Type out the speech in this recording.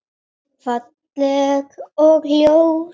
Falleg og ljót.